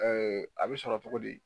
a be sɔrɔ togo di?